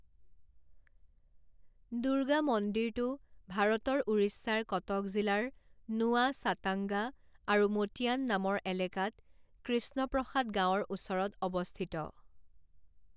দুৰ্গা মন্দিৰটো ভাৰতৰ উৰিষ্যাৰ কটক জিলাৰ নুৱা ছাটাঙ্গা আৰু মোটিয়ান নামৰ এলেকাত কৃষ্ণপ্ৰসাদ গাঁৱৰ ওচৰত অৱস্থিত।